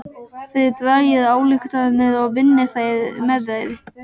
Þið dragið ályktanir og vinnið með þær.